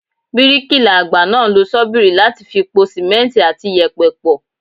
Bíríkilà àgbà náà ń lo ṣọ́bìrì láti fi po Símẹ́ǹtì àti yèpẹ̀ pọ̀.